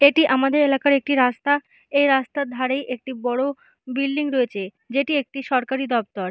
এটি আমাদের এলাকার একটি রাস্তা এই রাস্তার ধারেই একটি বড় বিল্ডিং রয়েছে। যেটি একটি সরকারি দপ্তর।